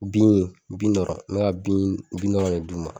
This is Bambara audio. Bin bin dɔrɔn n bɛ ka bin bin dɔrɔn ne d'u ma.